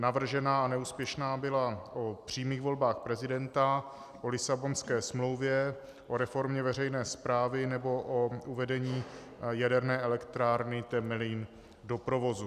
Navržená a neúspěšná byla o přímých volbách prezidenta, o Lisabonské smlouvě, o reformě veřejné správy nebo o uvedení jaderné elektrárny Temelín do provozu.